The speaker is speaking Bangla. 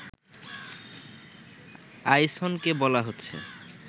আইসনকে বলা হচ্ছে